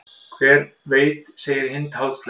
Hver veit segir Hind háðslega.